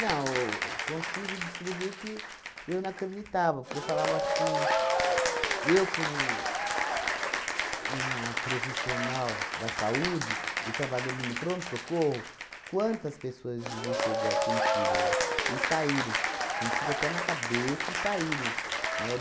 Não, eu consigo descrever que eu não acreditava, porque eu falava assim, eu como uma profissional da saúde e trabalhando no pronto-socorro, quantas pessoas vi chegar com tiro lá e saírem, com tiro até na cabeça e saírem, né?